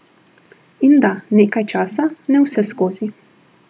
In da, nekaj časa, ne vseskozi.